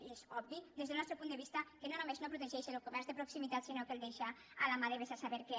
i és obvi des del nostre punt de vista que no només no protegeix el comerç de proximitat sinó que el deixa a la mà de vés a saber què